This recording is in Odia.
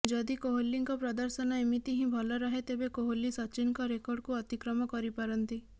ଯଦି କୋହଲିଙ୍କ ପ୍ରଦର୍ଶନ ଏମିତି ହିଁ ଭଲ ରହେ ତେବେ କୋହଲି ସଚିନଙ୍କ ରେକର୍ଡକୁ ଅତିକ୍ରମ କରି ପାରନ୍ତି